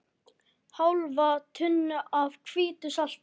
Hálfa tunnu af hvítu salti.